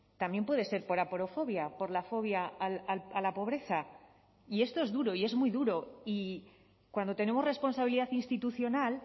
también puede ser por aporofobia por la fobia a la pobreza y esto es duro y es muy duro y cuando tenemos responsabilidad institucional